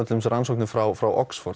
rannsóknir frá frá Oxford